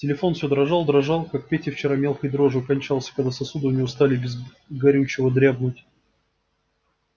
телефон всё дрожал дрожал как петя вчера мелкой дрожью кончался когда сосуды у него стали без горючего дрябнуть